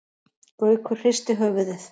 Gaukur hristi höfuðið.